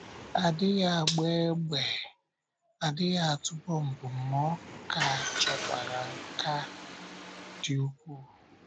A dịghị agba égbè, a dịghị atụ bọmbụ, ma ọ ka chọkwara nkà dị ukwuu.